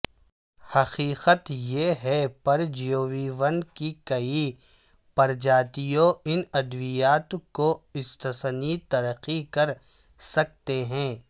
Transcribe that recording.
حقیقت یہ ہے پرجیویوں کی کئی پرجاتیوں ان ادویات کو استثنی ترقی کر سکتے ہیں